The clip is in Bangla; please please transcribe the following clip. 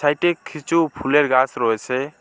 এটে খিচু ফুলের গাস রয়েসে।